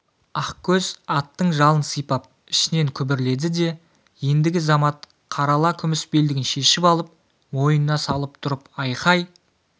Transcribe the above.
ақкөз аттың жалын сипап ішінен күбірледі де ендігі замат қарала күміс белдігін шешіп алып мойнына салып тұрып айқай